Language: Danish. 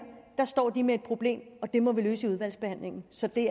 står de med et problem og det må vi løse i udvalgsbehandlingen så det